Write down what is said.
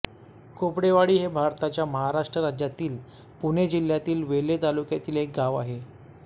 खोपडेवाडी हे भारताच्या महाराष्ट्र राज्यातील पुणे जिल्ह्यातील वेल्हे तालुक्यातील एक गाव आहे